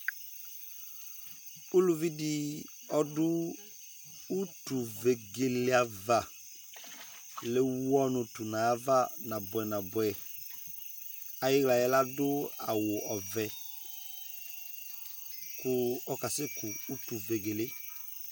uluvi di ɔdò utu vegele ava le wu ɔnò to n'ava naboɛ naboɛ ayi la yɛ ladò awu ɔvɛ kò ɔka sɛ ku utu vegele